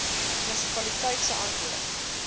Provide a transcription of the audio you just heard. munisipaliteit se antwoord